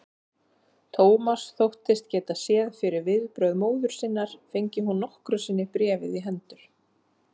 Thomas þóttist geta séð fyrir viðbrögð móður sinnar, fengi hún nokkru sinni bréfið í hendur.